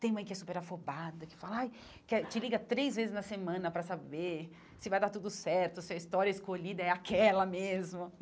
Tem mãe que é super afobada, que fala ai que é te liga três vezes na semana para saber se vai dar tudo certo, se a história escolhida é aquela mesmo.